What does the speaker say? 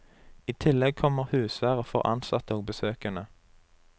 I tillegg kommer husvære for ansatte og besøkende.